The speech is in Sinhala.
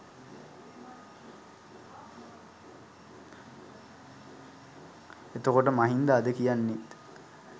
එතකොට මහින්ද අද කියන්නෙත්